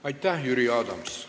Aitäh, Jüri Adams!